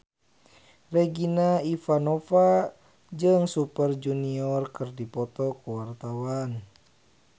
Regina Ivanova jeung Super Junior keur dipoto ku wartawan